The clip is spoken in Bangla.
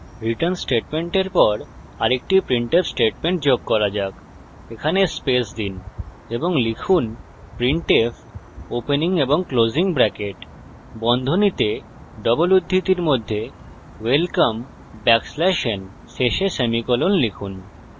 রিটার্ন স্টেটমেন্টের পর আরেকটি printf স্টেটমেন্ট যোগ করা যাক এখানে স্পেস দিন এবং লিখুন printf welcome \n শেষে সেমিকোলন লিখুন